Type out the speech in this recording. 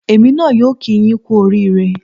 Èmi náà yóò kíi yín kú oríire